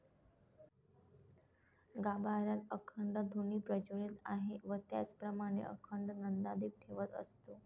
गाभाऱ्यात अखंड धुनी प्रज्वलित आहे व त्याचप्रमाणे अखंड नंदादीप ठेवत असतो.